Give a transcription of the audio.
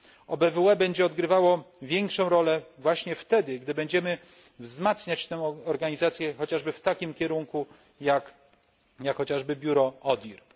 OBWE będzie odgrywało większą rolę właśnie wtedy, gdy będziemy wzmacniać tę organizację, chociażby w takim kierunku jak biuro ODIR.